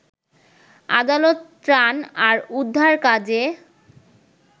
আদালত ত্রাণ আর উদ্ধার কাজে